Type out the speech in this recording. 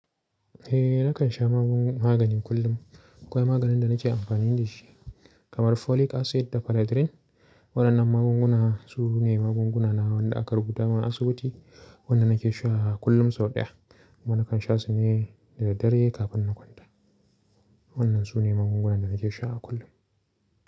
Eh, nakan sha magungu magani kullum. Akwai maganin da nake amfani da shi kamar folic acid da panadrin. Waɗannan magunguna su ne magunguna na wanda aka rubuta min a asibiti, waɗanda nake sha kullum sau ɗaya. Kuma nakan sha su ne da daddare kafin na kwanta. Waɗannan su ne magungunan da nake sha kullum.